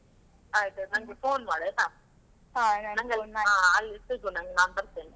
ನನ್ಗೆ phone ಮಾಡಾಯ್ತಾ. ಅಲ್ಲಿ ಸಿಗು, ನಾನ್ ನಾನ್ ಬರ್ತೇನೆ.